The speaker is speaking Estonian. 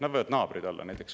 Nad võivad naabrid olla näiteks.